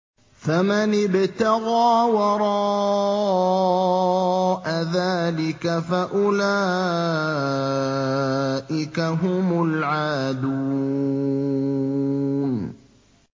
فَمَنِ ابْتَغَىٰ وَرَاءَ ذَٰلِكَ فَأُولَٰئِكَ هُمُ الْعَادُونَ